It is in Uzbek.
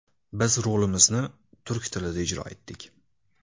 Biz rolimizni turk tilida ijro etdik.